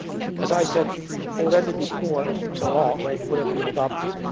As I said already before, the law would have been adopted.